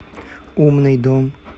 умный дом